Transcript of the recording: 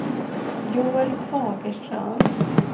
Joel Fagerström